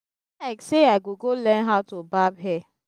e be like say i go go learn how to barb hair